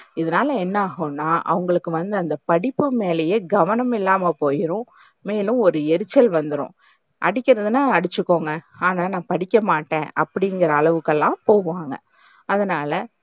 இதுனால என்ன ஆகும்னா அவங்களுக்கு வந்து அந்த படிப்பு மேலேயே கவனம் இல்லாம போய்டும். மேலும், ஒரு எரிச்சல் வந்துரும் அடிக்கிறதுன்னா அடிச்சுக்கோங்க. ஆனா நா படிக்கமாட்டேன் அப்டின்ற அளவுக்குலாம் போவாங்க. அதுனால,